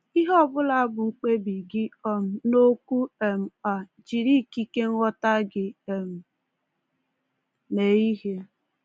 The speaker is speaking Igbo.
Ihe ọ bụla bụ mkpebi gị um n’okwu um a, jiri ikike nghọta gị um mee ihe.